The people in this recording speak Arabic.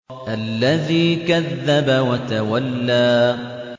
الَّذِي كَذَّبَ وَتَوَلَّىٰ